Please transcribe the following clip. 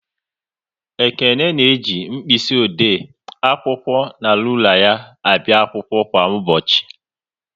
Ekene na-eji mkpịsị ode, akwụkwọ na rula ya abịa akwụkwọ kwa ụbọchị